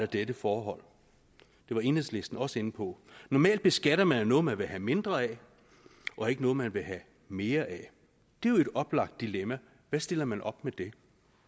dette forhold det var enhedslisten også inde på normalt beskatter man jo noget man vil have mindre af og ikke noget man vil have mere af det er jo et oplagt dilemma og hvad stiller man op med det